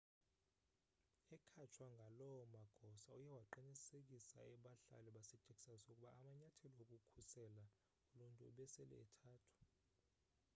ekhatshwa ngaloo magosa uye waqinisekisa abahlali basetexas ukuba amanyathelo okukhusela uluntu ebesele ethathwa